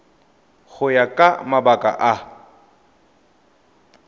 go ya ka mabaka a